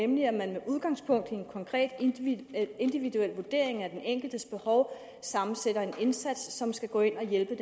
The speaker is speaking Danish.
nemlig at man med udgangspunkt i en konkret individuel individuel vurdering af den enkeltes behov sammensætter en indsats som skal gå ind og hjælpe i